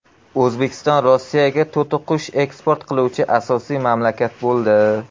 O‘zbekiston Rossiyaga to‘tiqush eksport qiluvchi asosiy mamlakat bo‘ldi.